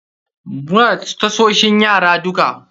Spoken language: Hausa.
Muna da tasoshin yara duka.